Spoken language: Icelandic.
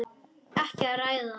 Ekki að ræða það.